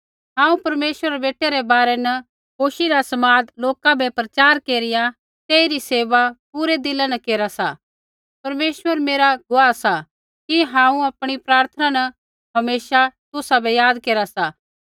हांऊँ परमेश्वरा रै बेटै रै बारै न खुशी रा समाद लोका बै प्रचार केरिया तेइरी सेवा पूरै दिला न केरा सा परमेश्वर मेरा गुआह सा कि हांऊँ आपणी प्रार्थना न हमेशा तुसाबै याद केरा सा